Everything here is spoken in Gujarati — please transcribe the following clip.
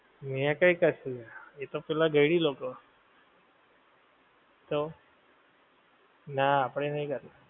મે કઈ કશું એ તો પેલા ગઈઢી લોકો તો ના આપણે નહીં કર